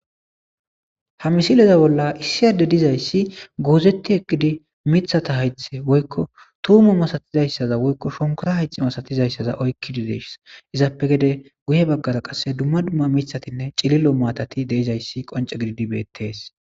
ha misileza bolla issiyadde dizayssi goozetti eqqidi mithata hayxte woykko tuumu masatizayssaza woykko shonkora hayxi masatizayssaza oykkidideess izaappe gede guye baggaza qasse dumma dumma mithatinne cililo maatati deizayssi qonce gididibeettes.